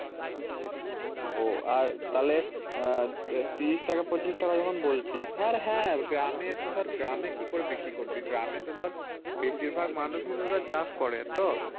ও আর তাহলে আহ ত্রিশ টাকা পঁচিশ টাকা যখন বলছিস আর হ্যাঁ গ্রামে তো ধর গ্রামে কি করে বিক্রি করবি গ্রামে তো ধর বেশির ভাগ মানুষই তো ধর চাষ করে তো